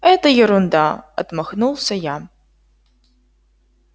это ерунда отмахнулся я